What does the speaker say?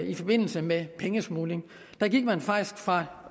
i forbindelse med pengesmugling der gik man faktisk fra